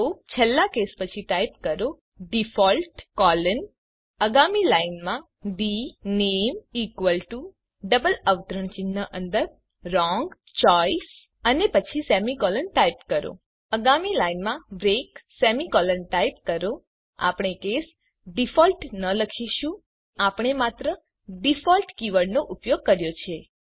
તો છેલ્લા કેસ પછી ટાઇપ કરો ડિફોલ્ટ કોલન આગામી લાઇનમાં ડીનેમ ઇકવલ ટુ ડબલ અવતરણ ચિહ્ન અંદર વ્રોંગ ચોઇસ અને પછી સેમીકોલન ટાઇપ કરો આગામી લાઇનમાં બ્રેક સેમીકોલન ટાઇપ કરો આપણે કેસ ડિફોલ્ટ ન લખીશું નોંધ લો કે આપણે માત્ર ડિફોલ્ટ કીવર્ડનો ઉપયોગ કર્યો છે